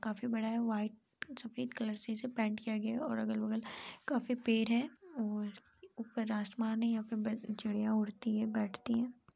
काफी बड़ा है व्हाइट सफेद कलर से इसे पैन्ट किया गया है और अगल बगल काफी पेड़ है और उपर आसमान है यहाँ पर चिड़िया उड़ती है बैठती है।